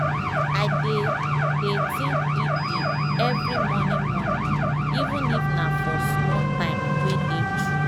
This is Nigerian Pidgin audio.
i dey dey think deep deep every morning morning even if nah for small time wey dey true.